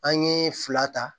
An ye fila ta